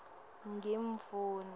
ngimdvuna